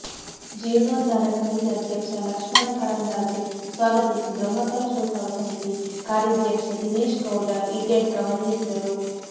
ಜೀರ್ಣೋದ್ಧಾರ ಸಮಿತಿ ಅಧ್ಯಕ್ಷ ಲಕ್ಷ್ಮಣ ಕರಂದ್ಲಾಜೆ ಸ್ವಾಗತಿಸಿ ಬ್ರಹ್ಮಕಲಶೋತ್ಸವ ಸಮಿತಿ ಕಾರ್ಯಾಧ್ಯಕ್ಷ ದಿನೇಶ್ ಗೌಡ ಇಡ್ಯಡ್ಕ ವಂದಿಸಿದರು